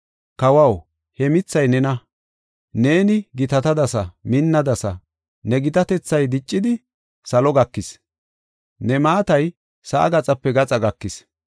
kawaw, he mithay nena. Neeni gitatadasa; minnadasa; ne gitatethay diccidi, salo gakis; ne maatay sa7aa gaxape gaxa gakis.”